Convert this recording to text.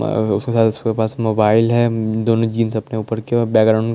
अ सोचा इसके पास मोबाइल हैं उम दोनों जीन सकते हैं उपर की और बैक ग्राउंड --